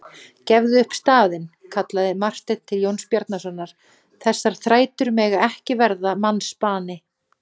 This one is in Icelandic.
Gefðu upp staðinn, kallaði Marteinn til Jóns Bjarnasonar,-þessar þrætur mega ekki verða mannsbani.